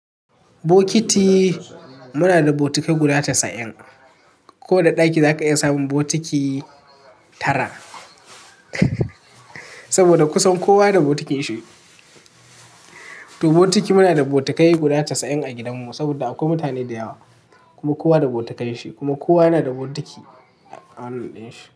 Bokiti muna da botikai guda casa'in. Ko da ɗaki zaka iya samun botiki tara, saboda kusan kowa da bokitin shi. To botiki muna da botikai guda casa'in a gidanmu saboda akwai mutane da yawa kuma kowa da botikan shi kuma kowa yana da botiki a wannan ɗin shi.